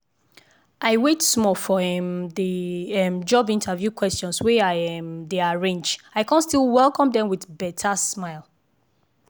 i wait small for um the um job interview questions wey i um dey arrange i con still welcome dem with beta smile.